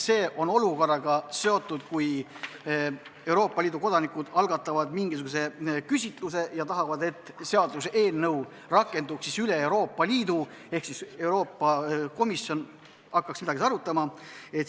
See on seotud olukorraga, kus Euroopa Liidu kodanikud algatavad mingisuguse küsitluse ja tahavad, et seaduseelnõu rakenduks üle Euroopa Liidu ehk Euroopa Komisjon hakkaks midagi arutama.